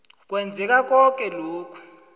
kwenzeka koke lokhu